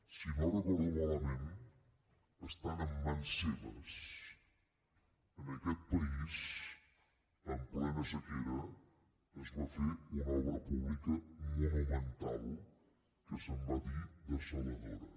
si no ho recordo malament estant en mans seves en aquest país en plena sequera es va fer una obra pública monumental que se’n va dir dessaladora